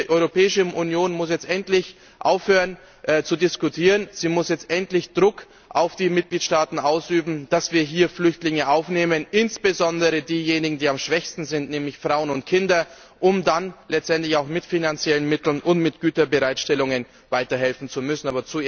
Ich denke, die Europäische Union muss jetzt endlich aufhören zu diskutieren, sie muss jetzt endlich Druck auf die Mitgliedstaaten ausüben, dass wir hier Flüchtlinge aufnehmen, insbesondere diejenigen, die am schwächsten sind, nämlich Frauen und Kinder, um dann letztendlich auch mit finanziellen Mitteln und mit Güterbereitstellungen weiter helfen zu müssen.